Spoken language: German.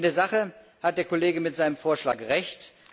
In der Sache hat der Kollege mit seinem Vorschlag Recht.